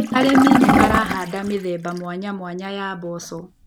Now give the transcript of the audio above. Arĩmi nĩmarahanda mĩthemba mwanyamwanya ya mboco.